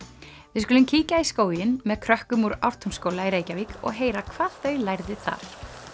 við skulum kíkja í skóginn með krökkum úr Ártúnsskóla í Reykjavík og heyra hvað þau lærðu þar